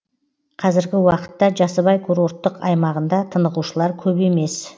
қазіргі уақытта жасыбай курорттық аймағында тынығушылар көп емес